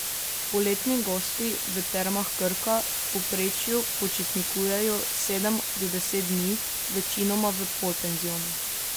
Poletni gosti v Termah Krka v povprečju počitnikujejo sedem do deset dni, večinoma v polpenzionu.